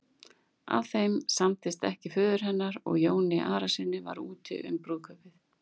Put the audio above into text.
Ef þeim samdist ekki föður hennar og Jóni Arasyni var úti um brúðkaupið.